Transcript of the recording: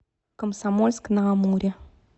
комсомольск на амуре